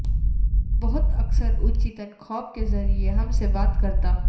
بہت اکثر اوچیتن خواب کے ذریعے ہم سے بات کرتا